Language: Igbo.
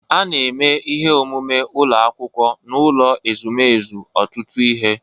A na-eme ihe omume ụlọ akwụkwọ n'ụlọ ezumezu ọtụtụ ihe.